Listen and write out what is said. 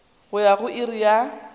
go ya go iri ya